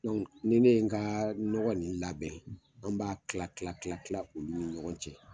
Dɔnku ni ne ye n ka nɔgɔ ninnui labɛn, an b'a tila tila tila olu ni ɲɔgɔn cɛ.